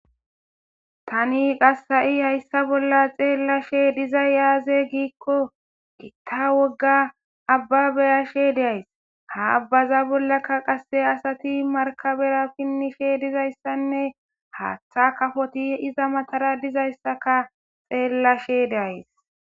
Taani qasi haysa bolla xeelashe dizay aaze giiko gita wogga abba be7ashe de7ays. Ha abaza bollaka qase asati markabera pinishe dizayissanne haaththa kafoti iza matara dizayssakka xeelashe de7ays